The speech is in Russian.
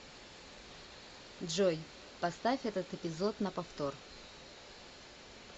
джой поставь этот эпизод на повтор